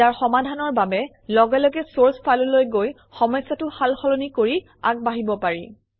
ইয়াৰ সমাধানৰ বাবে লগে লগে চৰ্চ ফাইললৈ গৈ সমস্যাটো সাল সলনি কৰি আগবাঢ়িব পাৰি